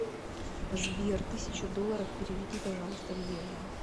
сбер тысяча долларов переведи пожалуйста в евро